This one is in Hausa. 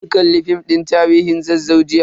Mun kalli film din tarihin Zazzau jiya.